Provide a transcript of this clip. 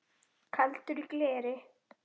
Kaldur í gleri